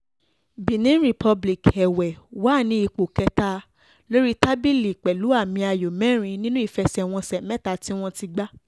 benin republic èwe wà ní ipò kẹta lórí tábìlì pẹ̀lú àmì ayò mẹ́rin nínú ìfẹsẹ̀wọnsẹ̀ mẹ́ta tí wọ́n ti gbà